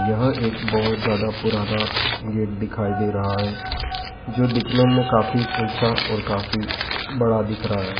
यह एक बहोत ज़्यादा पुराना गेट दिखाई दे रहा है जो दिखने में काफी ऊँचा और काफी बड़ा दिख रहा है।